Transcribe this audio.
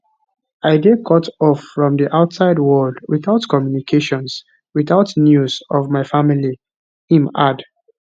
i dey cutoff from di outside world witout communications witout news of my family im add